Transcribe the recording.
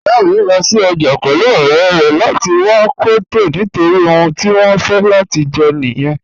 Iyà mi lọ sí ọjà pẹ̀lú ọ̀rẹ̀ rẹ̀ lati wà cọwtail̀ nitori ohun ti wọn fẹ̀ lati jẹ̀ niyẹn.